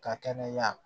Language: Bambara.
Ka kɛnɛya